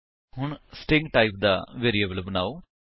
ਹੁਣ string type ਦਾ variable ਬਨਾਓ